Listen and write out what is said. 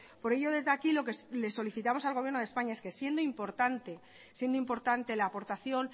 por ello desde aquí lo que le solicitamos al gobierno de españa es que siendo importante siendo importante la aportación